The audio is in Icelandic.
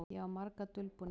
Ég á marga dulbúninga.